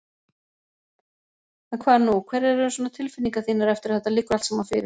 En hvað nú, hverjar eru svona tilfinningar þínar eftir að þetta liggur allt saman fyrir?